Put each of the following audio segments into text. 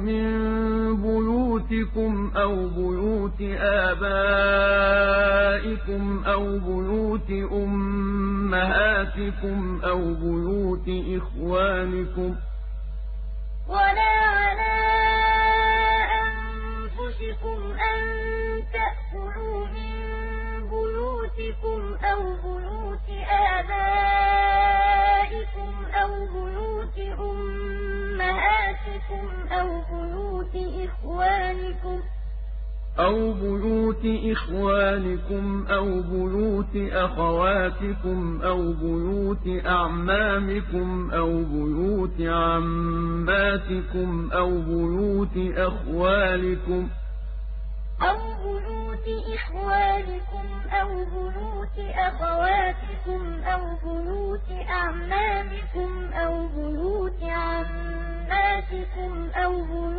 مِن بُيُوتِكُمْ أَوْ بُيُوتِ آبَائِكُمْ أَوْ بُيُوتِ أُمَّهَاتِكُمْ أَوْ بُيُوتِ إِخْوَانِكُمْ أَوْ بُيُوتِ أَخَوَاتِكُمْ أَوْ بُيُوتِ أَعْمَامِكُمْ أَوْ بُيُوتِ عَمَّاتِكُمْ أَوْ بُيُوتِ أَخْوَالِكُمْ أَوْ بُيُوتِ خَالَاتِكُمْ أَوْ مَا مَلَكْتُم مَّفَاتِحَهُ أَوْ صَدِيقِكُمْ ۚ لَيْسَ عَلَيْكُمْ جُنَاحٌ أَن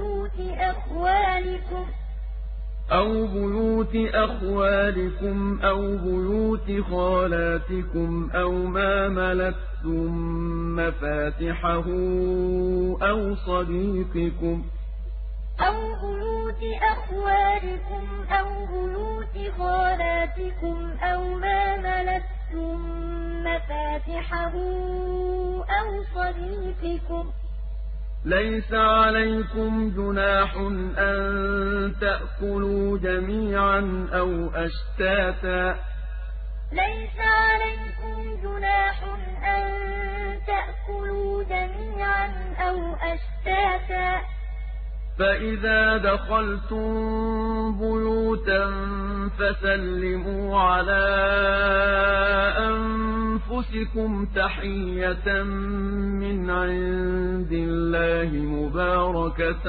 تَأْكُلُوا جَمِيعًا أَوْ أَشْتَاتًا ۚ فَإِذَا دَخَلْتُم بُيُوتًا فَسَلِّمُوا عَلَىٰ أَنفُسِكُمْ تَحِيَّةً مِّنْ عِندِ اللَّهِ مُبَارَكَةً طَيِّبَةً ۚ كَذَٰلِكَ يُبَيِّنُ اللَّهُ لَكُمُ الْآيَاتِ لَعَلَّكُمْ تَعْقِلُونَ لَّيْسَ عَلَى الْأَعْمَىٰ حَرَجٌ وَلَا عَلَى الْأَعْرَجِ حَرَجٌ وَلَا عَلَى الْمَرِيضِ حَرَجٌ وَلَا عَلَىٰ أَنفُسِكُمْ أَن تَأْكُلُوا مِن بُيُوتِكُمْ أَوْ بُيُوتِ آبَائِكُمْ أَوْ بُيُوتِ أُمَّهَاتِكُمْ أَوْ بُيُوتِ إِخْوَانِكُمْ أَوْ بُيُوتِ أَخَوَاتِكُمْ أَوْ بُيُوتِ أَعْمَامِكُمْ أَوْ بُيُوتِ عَمَّاتِكُمْ أَوْ بُيُوتِ أَخْوَالِكُمْ أَوْ بُيُوتِ خَالَاتِكُمْ أَوْ مَا مَلَكْتُم مَّفَاتِحَهُ أَوْ صَدِيقِكُمْ ۚ لَيْسَ عَلَيْكُمْ جُنَاحٌ أَن تَأْكُلُوا جَمِيعًا أَوْ أَشْتَاتًا ۚ فَإِذَا دَخَلْتُم بُيُوتًا فَسَلِّمُوا عَلَىٰ أَنفُسِكُمْ تَحِيَّةً مِّنْ عِندِ اللَّهِ مُبَارَكَةً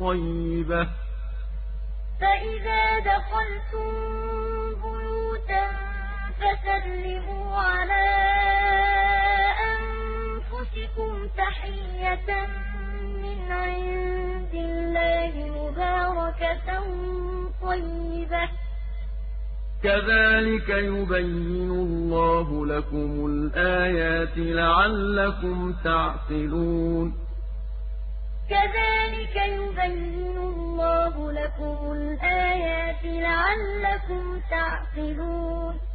طَيِّبَةً ۚ كَذَٰلِكَ يُبَيِّنُ اللَّهُ لَكُمُ الْآيَاتِ لَعَلَّكُمْ تَعْقِلُونَ